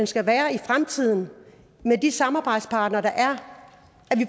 skal være i fremtiden med de samarbejdspartnere der er